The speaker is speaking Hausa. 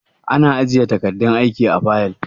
Ana aje takardun aiki a fayil.